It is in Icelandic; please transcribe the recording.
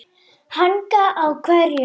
Hanga á hverju?